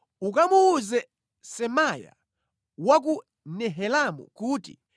Ukamuwuze Semaya wa ku Nehelamu kuti,